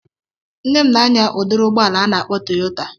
Nne m na-anya udiri ụgbọala a na-akpọ Toyota